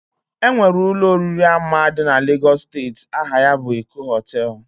Enwere Ụlọ oriri ama di na Lagos steeti, aha ya bụ Eko Hotel